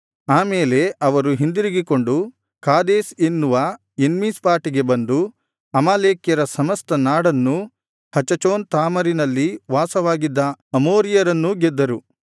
ಆ ಮೇಲೆ ಅವರು ಹಿಂದಿರುಗಿಕೊಂಡು ಕಾದೇಶ್ ಎನ್ನುವ ಎನ್ಮಿಷ್ಟಾಟಿಗೆ ಬಂದು ಅಮಾಲೇಕ್ಯರ ಸಮಸ್ತ ನಾಡನ್ನೂ ಹಚಚೋನ್ ತಾಮರಿನಲ್ಲಿ ವಾಸವಾಗಿದ್ದ ಅಮೋರಿಯರನ್ನೂ ಗೆದ್ದರು